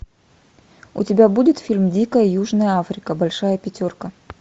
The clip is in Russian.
у тебя будет фильм дикая южная африка большая пятерка